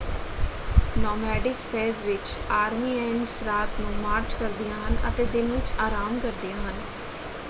Nomadic phase ਵਿੱਚ army ants ਰਾਤ ਨੂੰ ਮਾਰਚ ਕਰਦੀਆਂ ਹਨ ਅਤੇ ਦਿਨ ਵਿੱਚ ਆਰਾਮ ਕਰਦੀਆਂ ਹਨ।